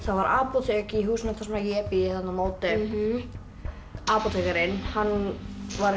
var apótek í húsinu þar sem ég bý þarna á móti apótekarinn var